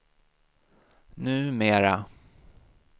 numera